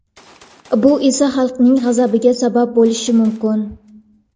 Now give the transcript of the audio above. Bu esa – xalqning g‘azabiga sabab bo‘lishi mumkin.